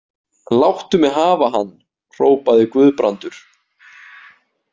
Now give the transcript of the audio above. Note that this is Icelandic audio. Láttu mig hafa hann, hrópaði Guðbrandur.